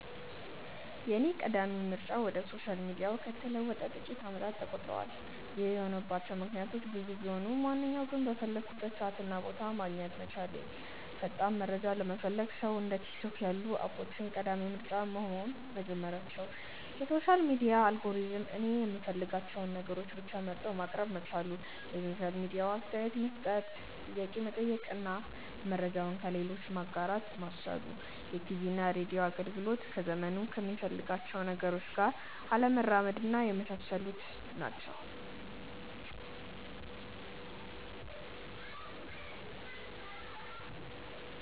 የኔ ቀዳሚ ምርጫ ወደ ሶሻል ሚዲያው ከተለወጠ ጥቂት አመታት ተቆጥረዋል። ይህ የሆነባቸው ምክንያቶች ብዙ ቢሆኑም ዋናዎቹ ግን:- በፈለኩበት ሰዓት እና ቦታ ማግኘት መቻሌ፣ ፈጣን መረጃ ለሚፈልግ ሰው እንደ ቲክቶክ ያሉ አፖች ቀዳሚ ምርጫ መሆን መጀመራቸው፣ የሶሻል ሚዲያ አልጎሪዝሙ እኔ የምፈልጋቸውን ነገሮች ብቻ መርጦ ማቅረብ መቻሉ፣ የሶሻል ሚዲያው አስተያየት መስጠት፣ ጥያቄ መጠየቅ እና መረጃውን ለሌሎች ማጋራት ማስቻሉ፣ የቲቪና ሬድዮ አገልግሎቶች ዘመኑ ከሚፈልጋቸው ነገሮች ጋር አለመራመድና የመሳሰሉት ናቸው።